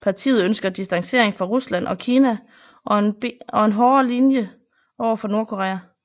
Partiet ønsker distancering fra Rusland og Kina og en hårdere linje overfor Nordkorea